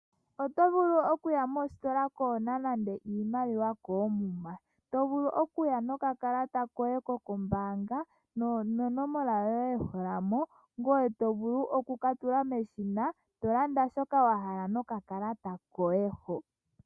Oto vulu okuya mositola kuuna nande oshimaliwa koomuma to vulu okuya nokakalata koye kombaanga nonomola yoye ndjoka to tula mo, ngoye to vulu oku katula meshina tolanda shoka wa hala nokakala koye ho.